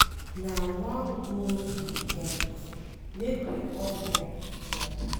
Na one goal we get, make we all work together.